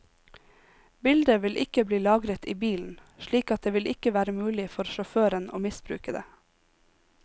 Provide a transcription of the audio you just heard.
Bildet vil ikke bli lagret i bilen, slik at det vil ikke være mulig for sjåføren å misbruke det.